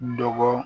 Dɔgɔ